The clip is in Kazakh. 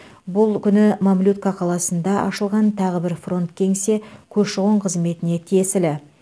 бұл күні мамлютка қаласында ашылған тағы бір фронт кеңсе көші қон қызметіне тиесілі